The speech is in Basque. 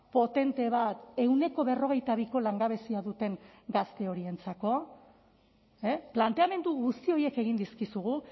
potente bat ehuneko berrogeita biko langabezia duten gazte horientzako planteamendu guzti horiek egin dizkizugu